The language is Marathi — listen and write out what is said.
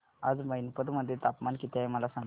आज मैनपत मध्ये तापमान किती आहे मला सांगा